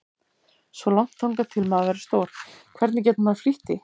Svo langt þangað til maður verður stór, hvernig getur maður flýtt því?